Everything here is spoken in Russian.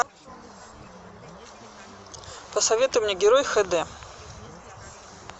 посоветуй мне герой хд